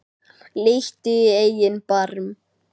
Líttu í eigin barm